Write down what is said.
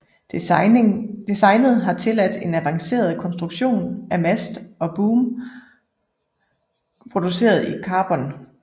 Designet har tilladt en avanceret konstruktion af mast og boom produceret i karbon